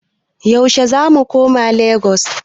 Yaushe zamu koma Lagos?